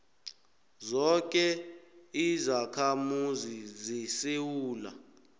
zoke izakhamuzi zesewula